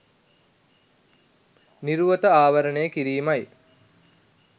නිරුවත ආවරණය කිරීමයි.